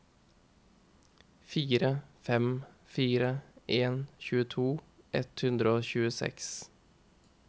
fire fem fire en tjueto ett hundre og tjueseks